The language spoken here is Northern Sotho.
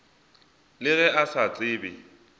le ge a sa tsebe